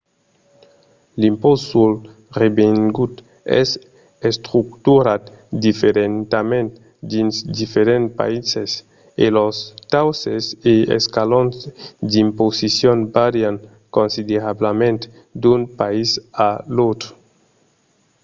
l'impòst sul revengut es estructurat diferentament dins diferents païses e los tausses e escalons d'imposicion vàrian considerablament d'un país a l'autre